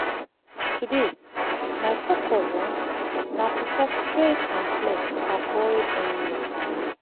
today my focus na to talk straight and clear to avoid any wahala.